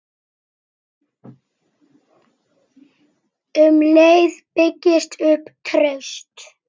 Um leið byggist upp traust.